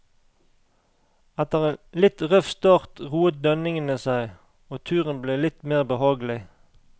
Etter en litt røff start roet dønningene seg, og turen ble litt mer behagelig.